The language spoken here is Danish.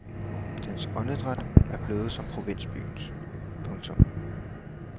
Dens åndedræt er blevet som provinsbyens. punktum